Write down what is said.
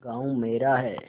गॉँव मेरा है